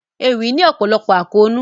Ewì ní ọ̀pọ̀lọpọ̀ àkóónú.